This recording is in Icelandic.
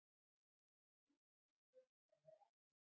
Rýnt í stjörnufræði á Akureyri